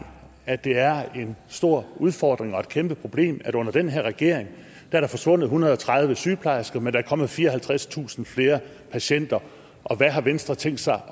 at det er en stor udfordring og et kæmpe problem at under den her regering er der forsvundet en hundrede og tredive sygeplejersker mens der er kommet fireoghalvtredstusind flere patienter og hvad har venstre tænkt sig